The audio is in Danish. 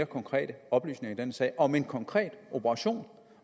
konkrete oplysninger i denne sag om en konkret operation